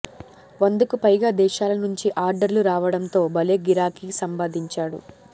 వందకు పైగా దేశాల నుంచి ఆర్డర్లు రావడంతో భలే గిరాకీ సంపాదించాడు